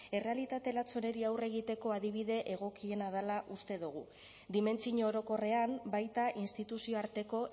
errealitate latz honeri aurre egiteko adibide egokiena dela uste dugu dimentsio orokorrean baita instituzio arteko